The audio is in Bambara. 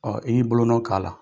Ɔ i y'i bolonɔ k'a la